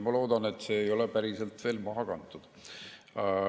Ma loodan, et see ei ole veel päriselt maha kantud.